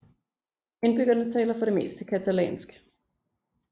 Indbyggerne taler for det meste catalansk